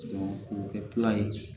k'o kɛ ye